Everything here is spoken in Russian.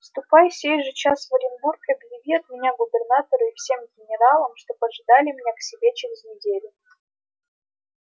ступай сей же час в оренбург и объяви от меня губернатору и всем генералам чтоб ожидали меня к себе через неделю